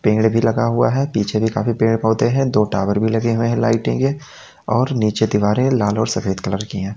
पेड़ भी लगा हुआ है पीछे भी काफी पेड़ होते हैं दो टावर भी लगे हैं लाइटें के और नीचे दीवारें लाल और सफेद कलर की है।